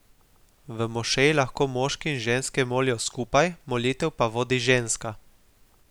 V mošeji lahko moški in ženske molijo skupaj, molitev pa vodi ženska.